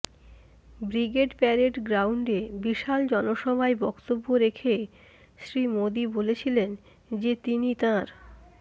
brigade parade গ্রাউন্ডে বিশাল জনসভায় বক্তব্য রেখে শ্রী মোদী বলেছিলেন যে তিনি তাঁর